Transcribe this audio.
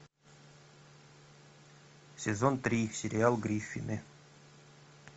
сезон три сериал гриффины